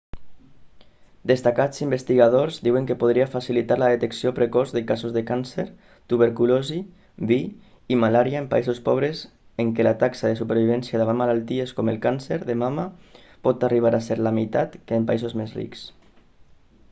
destacats investigadors diuen que podria facilitar la detecció precoç de casos de càncer tuberculosi vih i malària en països pobres en què la taxa de supervivència davant malalties com el càncer de mama pot arribar a ser la meitat que en països més rics